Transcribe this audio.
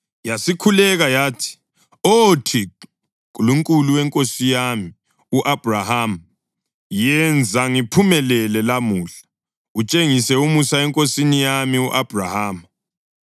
Yasikhuleka yathi, “Oh Thixo, Nkulunkulu wenkosi yami u-Abhrahama, yenza ngiphumelele lamuhla, utshengise umusa enkosini yami u-Abhrahama.